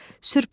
Sürpriz,